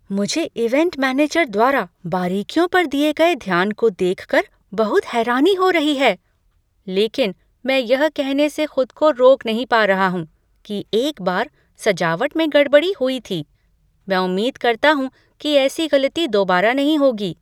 मुझे event manager द्वारा बारीकियों पर दिए गए ध्यान को देख कर बहुत हैरानी हो रही है, लेकिन मैं यह कहने से खुद को रोक नहीं पा रहा हूँ कि एक बार सजावट में गड़बड़ी हुई थी। मैं उम्मीद करता हूँ कि ऐसी गलती दोबारा नहीं होगी।